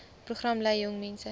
program lei jongmense